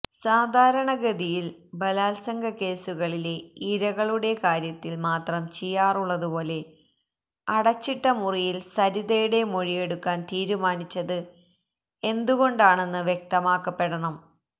സാധാരണ ഗതിയില് ബലാല്സംഗ കേസുകളിലെ ഇരകളുടെ കാര്യത്തില് മാത്രം ചെയ്യാറുള്ളതുപോലെ അടച്ചിട്ട മുറിയില് സരിതയുടെ മൊഴിയെടുക്കാന് തീരുമാനിച്ചത് എന്തുകൊണ്ടാണെന്ന് വ്യക്തമാക്കപ്പെടണം